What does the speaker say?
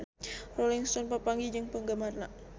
Rolling Stone papanggih jeung penggemarna